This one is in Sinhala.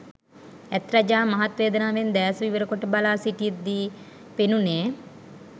ඇත් රජා මහත් වේදනාවෙන් දෑස විවර කොට බලා සිිටිද්දී පෙනුණේ